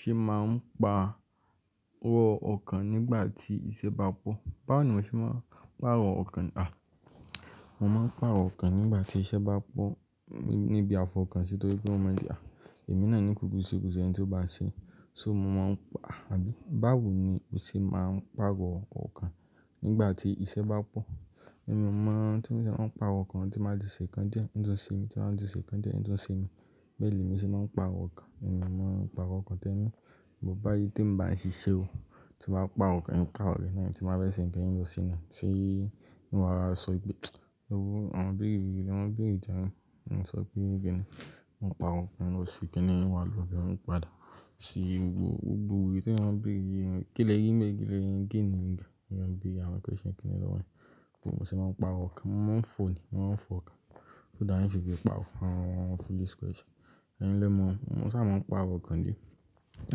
Ṣé máa ń pa wọ ọkàn nígbà tí iṣẹ́ bá pọ̀? Báwo ni mo ṣe máa ń pàrọ̀ ọkàn? À, mo máa ń pàrọ̀ ọkàn nígbà tí iṣẹ́ bá pọ̀ níbi afọ̀ kan. Nítorí pé mo mọ̀ pé à, èmi náà ní kúkú ṣekúṣe ẹni tí ó bá ṣe. So mo máa ń pa, àbí báwo ni o ṣe máa ń pàrọ̀ ọkàn nígbà tí iṣẹ́ bá pọ̀? Ẹ̀mi mọ̀ ọ́n tí ó ṣe máa ń pàrọ̀ ọkàn tí màá ti ṣe ǹkan díẹ̀, ń tún ṣe mi, tí màá ti ṣe ǹkan díẹ̀, ń tún ṣe mi. Bẹ́ẹ̀ ni èmi ṣe máa ń pàrọ̀ ọkàn. Ẹ̀mi mọ̀ ọ́n pàrọ̀ ọkàn tán. Ò bá yí tí mo bà ń ṣìṣe o, tí màá pàrọ̀ ọkàn ní káàkiri, tí màá fẹ́ ṣe ǹkan yẹn lọ́sìnà, ṣé ní wàá sọ pé, "ẹú, àwọn bìrì yìí ló máa ń bìrì dáa nù." Ṣé kí ni, mó pàrọ̀ ọkàn lọ sí kí ni ìwà lò bí wọ́n padà. Ṣé gbogbo èyí tí wọ́n ń bìrì, kí lẹ́yìn mẹ́ẹ̀rí, kí lẹ́yìn méjì ni ǹkan. Ìyẹn bí àwọn question kíni lọ́wọ́ mi. Kò sì máa ń pàrọ̀ ọkàn. Mo máa ń fò ni, mo máa ń fọ ọkàn. So dáàní ṣe kì í pàrọ̀, àwọn foolish question. Ẹ̀yin lẹ́mọ̀, mo sá máa ń pàrọ̀ ọkàn díẹ̀ tí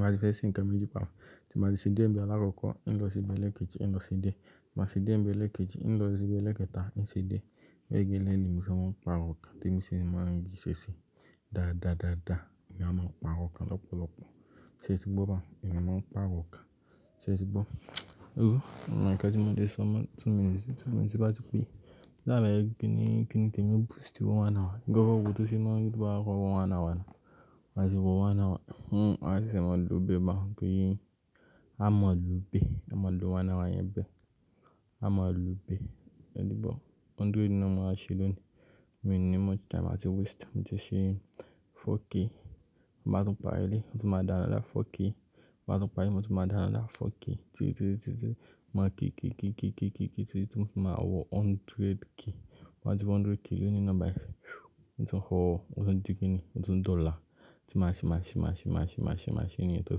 màá ti fẹ́ ṣe ǹkan méjì papọ̀. Tí màá ti ṣe dé ẹ̀mí alákọ̀ọ́kọ́, ń lọ síbí ẹlẹ́kẹ̀ẹ̀ta, ń lọ sí dé. Máa ṣe dé ẹ̀mí ẹlẹ́kẹ̀ji, ń lọ síbí ẹlẹ́kẹta, ń ṣe dé. Lẹ́yìn méjìlélẹ́gbàá ni mo ṣe máa ń pàrọ̀ ọkàn tí mo ṣe máa ń gbé ṣẹ́ṣẹ́. Dáadáadáàdá ni a máa ń pàrọ̀ ọkàn lọ́pọ̀lọpọ̀. Ṣé ẹ ti gbọ́ bẹ́ẹ̀? Ẹ̀mi máa ń pàrọ̀ ọkàn. Ṣé ẹ ti gbọ́? Ẹ́ú, ọ̀nà kan tí mo ti sọ, tí mo ti bá ti pé. Láàlàá ẹ́ kí ni, kí ni kí ẹ mú boost owó ònà wa. Gẹ́gẹ́ bí ó tó ṣe máa ń gbé owó ònà wa lọ. Máa ṣe owó ònà wa. Hmm, à sì máa lò ó bébà. Kí ì, a máa lò ó bé. A máa lò owó ònà wa yẹn bé. A máa lò ó bé. Ẹni bọ̀, hundred náà mo máa ṣe lóòní. Mi ní much time I ti waste. Mo ti ṣe 4k. Máa tún pàrọ̀ ẹ́ lé, mo tún máa dá anọ̀dá 4k. Máa tún pàrọ̀ ẹ́, mo tún máa dá anọ̀dá 4k. Títí, títí, títí, títí. Mo máa kí kí kí kí kí kí títí mo ti máa wọ hundred k. Máa ti wo hundred k, lóyún nọ́mbà ẹ. Mo ti ń rọ, mo ti ń jí kí ni, mo ti ń di ola Tí màá ṣe, màá ṣe, màá ṣe, màá ṣe, màá ṣe, màá ṣe èyí tó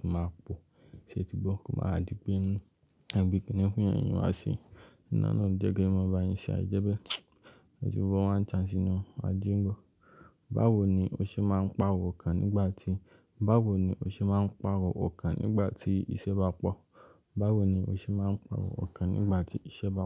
fi máa pọ̀. Ṣé ẹ ti gbọ́? Kò máa di pé ẹni bíi kí ni ń fún èèyàn yìí wá ṣe. Ẹ́ná náà jẹ́ kí ẹ máa bá yín ṣe àì jẹ́ pé ẹ ti gbọ́ one chance inú. A jí n bọ̀. Báwo ni o ṣe máa ń pàrọ̀ ọkàn nígbà tí, báwo ni o ṣe máa ń pàrọ̀ ọkàn nígbà tí iṣẹ́ bá pọ̀? Báwo ni o ṣe máa ń pàrọ̀ ọkàn nígbà tí iṣẹ́ bá pọ̀?